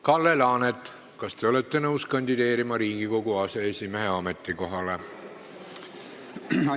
Kalle Laanet, kas te olete nõus kandideerima Riigikogu aseesimehe ametikohale?